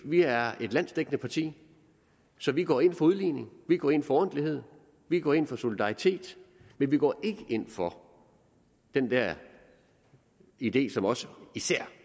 vi er et landsdækkende parti så vi går ind for udligning vi går ind for ordentlighed vi går ind for solidaritet men vi går ikke ind for den der idé som også og især